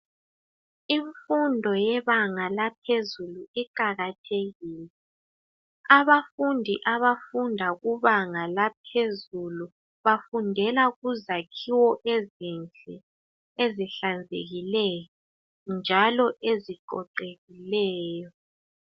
Imfundo yebanga laphezulu iqakathekile abafundi abafunda kubanga laphezulu bafundela kuzakhiwo ezinhle ezihlanzekileyo njalo eziqoqekileyo